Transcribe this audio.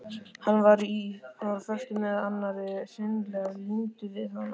Hann var á föstu með annarri, hreinlega límdur við hana.